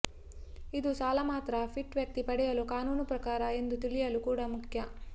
ಇದು ಸಾಲ ಮಾತ್ರ ಫಿಟ್ ವ್ಯಕ್ತಿ ಪಡೆಯಲು ಕಾನೂನು ಪ್ರಕಾರ ಎಂದು ತಿಳಿಯಲು ಕೂಡ ಮುಖ್ಯ